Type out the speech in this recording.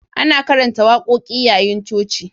Ana karanta wakoki yayin coci.